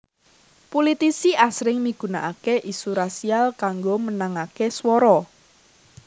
Pulitisi asring migunakaké isu rasial kanggo menangaké swara